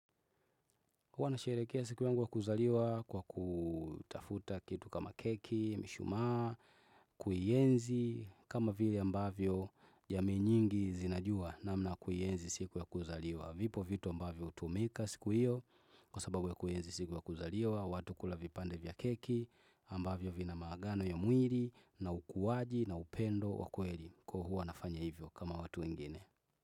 Huwa nasherehekea siku yangu wa kuzaliwa kwa kutafuta kitu kama keki, mishumaa, kuienzi kama vile ambavyo jamii nyingi zinajua namna ya kuienzi siku ya kuzaliwa. Vipo vitu ambavyo hutumika siku hiyo kwa sababu ya kuienzi siku ya kuzaliwa, watu kula vipande vya keki ambavyo vina maagano ya mwili na ukuaji na upendo wa kweli huwa nafanya hivyo kama watu wengine.